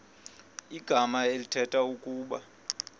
igama elithetha ukuba